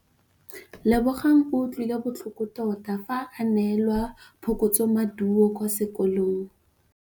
Lebogang o utlwile botlhoko tota fa a neelwa phokotsômaduô kwa sekolong.